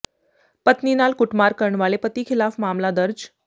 ਪਤਨੀ ਨਾਲ ਕੁੱਟਮਾਰ ਕਰਨ ਵਾਲੇ ਪਤੀ ਖ਼ਿਲਾਫ਼ ਮਾਮਲਾ ਦਰਜ